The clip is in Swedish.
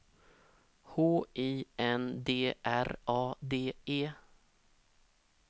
H I N D R A D E